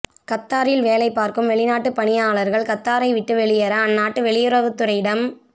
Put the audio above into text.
கத்தாரில் வேலை பார்க்கும் வெளிநாட்டு பணியாளர்கள் கத்தாரை விட்டு வெளியேற அந்நாட்டு வெளியுறவுத்துறையிடம்